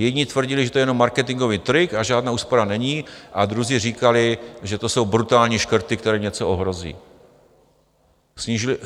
Jedni tvrdili, že to je jenom marketinkový trik a žádná úspora není, a druzí říkali, že to jsou brutální škrty, které něco ohrozí.